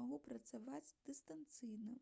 магу працаваць дыстанцыйна